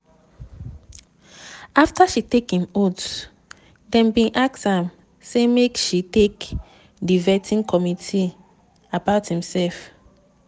afta she take im oath dem bin ask am say make she tok di vetting committee about imserf.